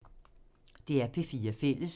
DR P4 Fælles